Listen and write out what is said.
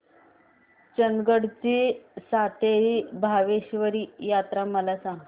चंदगड ची सातेरी भावेश्वरी यात्रा मला सांग